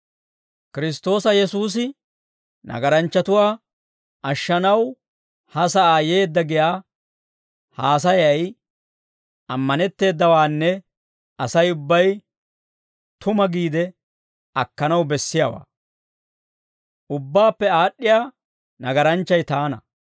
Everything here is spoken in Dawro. Kiristtoosa Yesuusi nagaranchchatuwaa ashshanaw ha sa'aa yeedda giyaa haasayay ammanetteedawaanne Asay ubbay tuma giide akkanaw bessiyaawaa. Ubbaappe aad'd'iyaa nagaranchchay taana.